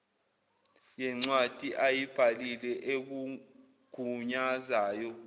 yencwadi ayibhalile ekugunyazayo